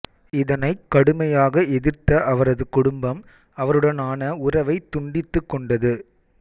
இதனைக் கடுமையாக எதிர்த்த அவரது குடும்பம் அவருடனான உறவைத் துண்டித்துக் கொண்டது